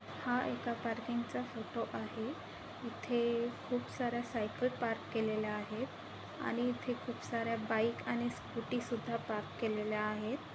हा एका पार्किंगचा फोटो आहे इथे खूप सार्‍या साईकल पार्क केलेल्या आहेत आणि इथे खूप सार्‍या बाइक आणि स्कूटी सुधा पार्क केलेल्या आहेत.